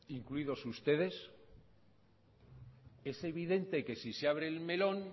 incluidos ustedes es evidente que si se abre el melón